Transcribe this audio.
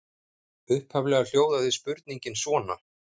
Upphaflega hljóðaði spurningin svona: